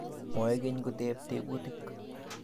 Moekeny koteb tebutik